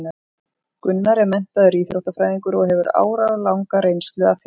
Gunnar er menntaður íþróttafræðingur og hefur áralanga reynslu af þjálfun.